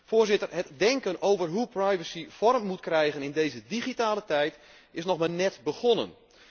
Voorzitter, het denken over hoe privacy vorm moet krijgen in deze digitale tijd is nog maar net begonnen.